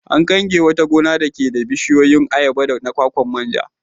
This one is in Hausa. An kange wata gona dake da bishiyoyin ayaba da na kwakwa man ja.